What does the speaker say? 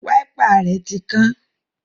Wáípà rẹ̀ tí kán